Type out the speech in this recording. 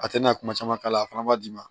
A tɛna kuma caman k'a la a fana b'a d'i ma